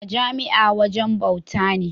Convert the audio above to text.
Majami’a wajen bawta na.